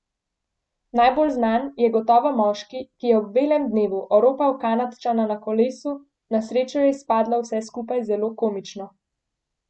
Najbolj znan je gotovo moški, ki je ob belem dnevu oropal Kanadčana na kolesu, na srečo je izpadlo vse skupaj zelo komično.